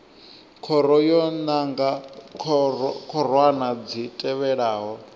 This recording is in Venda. khoro yo nanga khorwana dzi tevhelaho